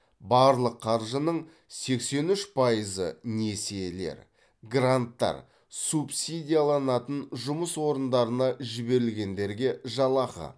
барлық қаржының сексен үш пайызы несиелер гранттар субсидияланатын жұмыс орындарына жіберілгендерге жалақы